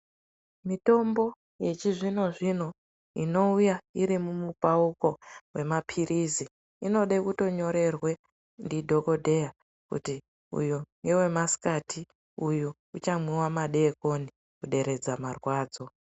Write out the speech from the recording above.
Mitombo yechizvino inouya iri mumupauko yemapirizi inode kutonyorerwe ndidhokodheya kuti uyo ngewemasikati uyo uchamwiwa madekoni kuderedza marwadzo.